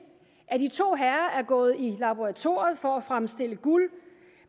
at de to herrer er gået i laboratoriet for at fremstille guld